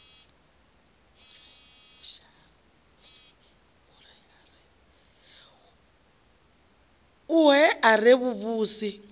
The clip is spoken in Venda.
ohe a re a vhuvhusi